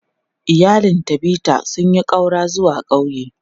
Iyalin Tabitha sun yi ƙaura zuwa ƙauye.